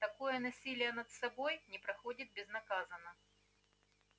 такое насилие над собой не проходит безнаказанно